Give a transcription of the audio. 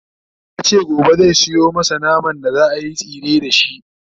yace gobe zai Sayo masu naman da zaayi tsire da shi